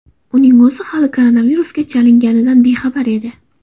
Uning o‘zi hali koronavirusga chalinganidan bexabar edi.